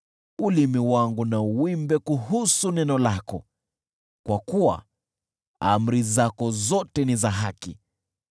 Ulimi wangu na uimbe kuhusu neno lako, kwa kuwa amri zako zote ni za haki.